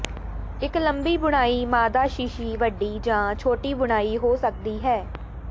ਇੱਕ ਲੰਬੀ ਬੁਣਾਈ ਮਾਦਾ ਸ਼ੀਸ਼ੀ ਵੱਡੀ ਜਾਂ ਛੋਟੀ ਬੁਣਾਈ ਹੋ ਸਕਦੀ ਹੈ